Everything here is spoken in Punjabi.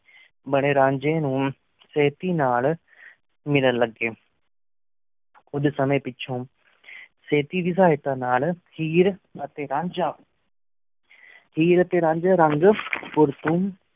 ਮੇਰਾਂਜ੍ਯ ਨੂ ਸ਼ਿਹ੍ਤੀ ਨਾਲ ਮਿਲਣ ਲਗੀ ਕੁਛ ਸੰਯੰ ਪਿਚੁਨ ਸਿਹ੍ਤੀ ਦੀ ਸਤੀ ਨਾਲ ਹੇਅਰ ਟੀ ਰੰਜਾ ਹੇਅਰ ਟੀ ਰੰਜਾ